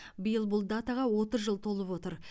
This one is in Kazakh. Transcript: биыл бұл датаға отыз жыл толып отыр